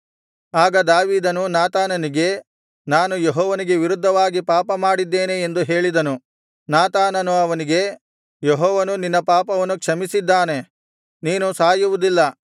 ಆಗ ದಾವೀದನು ನಾತಾನನಿಗೆ ನಾನು ಯೆಹೋವನಿಗೆ ವಿರುದ್ಧವಾಗಿ ಪಾಪ ಮಾಡಿದ್ದೇನೆ ಎಂದು ಹೇಳಿದನು ನಾತಾನನು ಅವನಿಗೆ ಯೆಹೋವನು ನಿನ್ನ ಪಾಪವನ್ನು ಕ್ಷಮಿಸಿದ್ದಾನೆ ನೀನು ಸಾಯುವುದಿಲ್ಲ